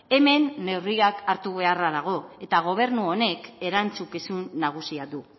hemen neurriak hartu beharra dago eta gobernu honek erantzukizun nagusia du